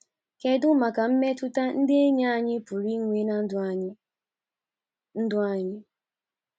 Kedu maka mmetụta ndị enyi anyị pụrụ inwe ná ndụ anyị? ndụ anyị?